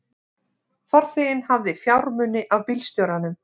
Farþeginn hafði fjármuni af bílstjóranum